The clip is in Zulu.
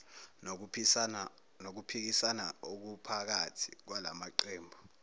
nokuphikisana okuphakathi kwalamaqembu